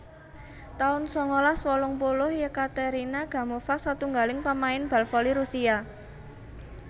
taun sangalas wolung puluh Yekaterina Gamova satunggaling pamain bal voli Rusia